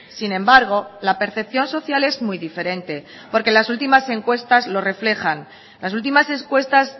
sin embargo la percepción social es muy diferente porque las últimas encuestas lo reflejan las últimas encuestas